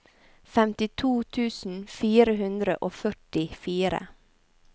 femtito tusen fire hundre og førtifire